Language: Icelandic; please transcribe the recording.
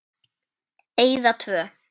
Eyða tvö.